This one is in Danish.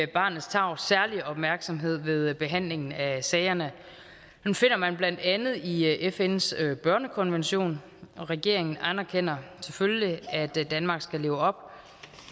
barnets tarv særlig opmærksomhed ved behandlingen af sagerne finder man blandt andet i fns børnekonvention og regeringen anerkender selvfølgelig at danmark skal leve op